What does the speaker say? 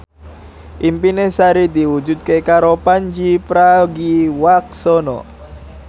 impine Sari diwujudke karo Pandji Pragiwaksono